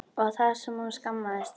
Og það sem hún skammaðist sín!